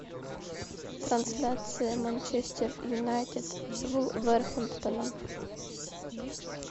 трансляция манчестер юнайтед с вулверхэмптоном